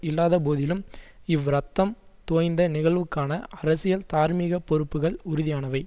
இல்லாதபோதிலும் இவ் இரத்தம் தோய்ந்த நிகழ்வுக்கான அரசியல் தார்மீக பொறுப்புக்கள் உறுதியானவை